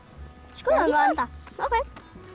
skoðum hann ókei